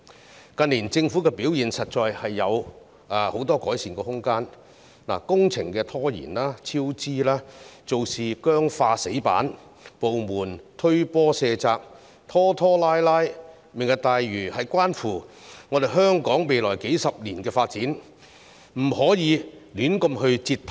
政府近年的表現實在有很多改善空間，工程拖延、超支，做事僵化、"死板"，部門互相卸責、拖拖拉拉，"明日大嶼"關乎香港未來數十年的發展，不可以胡亂折騰。